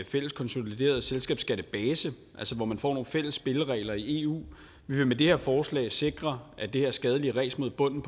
fælles konsolideret selskabsskattebase hvor man får nogle fælles spilleregler i eu vi vil med det her forslag sikre at det her skadelige ræs mod bunden